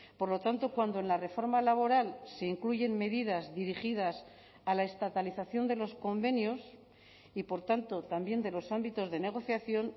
por lo tanto cuando en la reforma laboral se incluyen medidas dirigidas a la estatalización de los convenios y por tanto también de los ámbitos de negociación